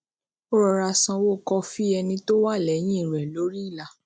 ó rọra sanwó kọfí ẹni tó wà léyìn rè lori ìlà